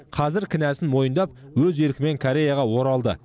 қазір кінәсін мойындап өз еркімен кореяға оралды